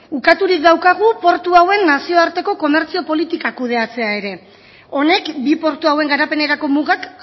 ukaturik daukagu portu hauen nazioarteko komertzioa politikak kudeatzea ere honek bi portu hauen garapenerako mugak